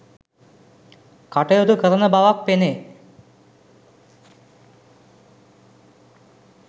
කටයුතු කරන බවක් පෙනේ.